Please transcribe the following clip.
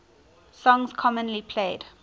songs commonly played